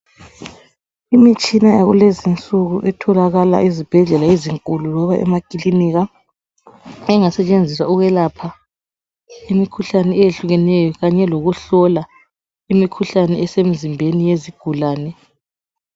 Imitshana yalezinsuku etholakala ezibhedlela ezinkulu loba emakilinika. Engasetshenziswa ukuyelapha imikhuhlane eyehlukeneyo Kanye lokuhlola imikhuhlane esemizimbeni yesigulane.